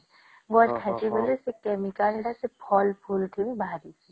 ଗଛ କହିସେ ବୋଲି ସେ chemical ଟା ସେ ଫଳ ଫୁଲ ଥି ବାହାରିଛି